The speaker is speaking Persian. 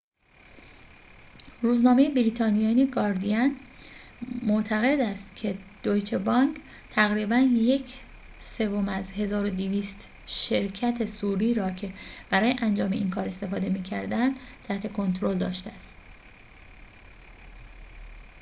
روزنامه بریتانیایی گاردین معتقد است که دویچه بانک تقریباً یک سوم از ۱۲۰۰ شرکت صوری را که برای انجام این کار استفاده می‌کردند تحت کنترل داشته است